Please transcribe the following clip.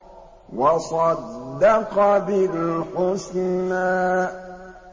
وَصَدَّقَ بِالْحُسْنَىٰ